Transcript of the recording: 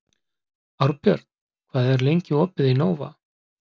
Árbjört, hvað er lengi opið í Nova?